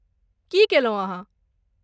की कयलहुँ अहाँ?